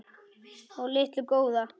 og litu góða.